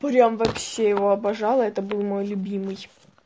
прям вообще его обожала это был мой любимый